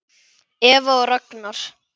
Eva og Ragnar.